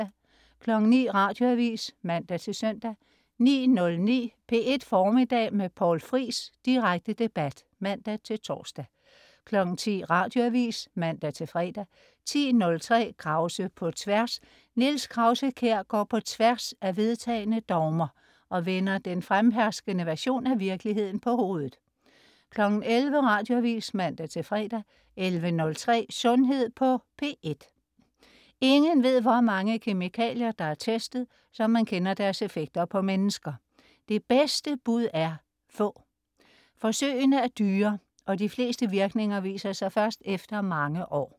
09.00 Radioavis (man-søn) 09.09 P1 Formiddag med Poul Friis. Direkte debat (man-tors) 10.00 Radioavis (man-fre) 10.03 Krause på Tværs. Niels Krause-Kjær går på tværs af vedtagne dogmer, og vender den fremherskende version af virkeligheden på hovedet 11.00 Radioavis (man-fre) 11.03 Sundhed på P1. Ingen ved, hvor mange kemikalier der er testet, så man kender deres effekter på mennesker. Det bedste bud er: få. Forsøgene er dyre, og de fleste virkninger viser sig først efter mange år